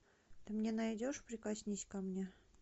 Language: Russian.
ты мне найдешь прикоснись ко мне